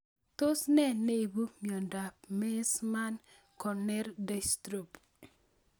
Tos nee neipu miondop Meesmann corneal dystrophy